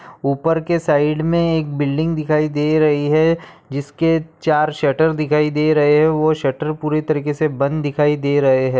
उपर के साइड मे एक बिल्डिंग दिखाई दे रही है जिसके चार शटर दिखाई दे रही है वह शटर पूरी तरीकेसे बंद दिखाई दे रहे है।